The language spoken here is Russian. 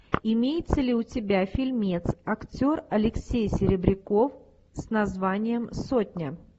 имеется ли у тебя фильмец актер алексей серебряков с названием сотня